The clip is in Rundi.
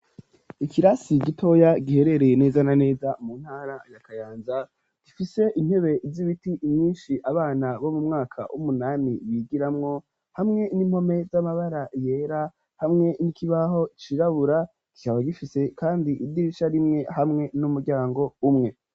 Ikirasi gitoya giherereye neza na neza mu ntara ya kayanza gifise intebe z'ibiti myinshi abana bo mu mwaka w'umunami bigiramwo hamwe n'impome z'amabara yera hamwe n'ikibaho cirabura kikaba gifise kandi idirisha rimwe hamwe n'umuryango umwe.